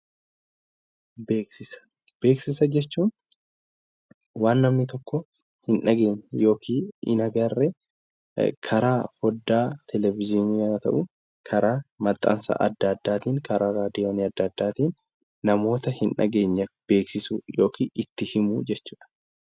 Beeksisa jechuun waan namni tokko hin dhageenye yookiin hin agarree karaa foddaa televezyiinii, karaa maxxansa adda addaatiin namoota hin dhageenye bira itti himuu yookiin beeksisuu jechuudha